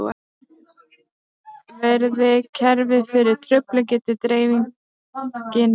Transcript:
Verði kerfið fyrir truflun getur dreifingin breyst.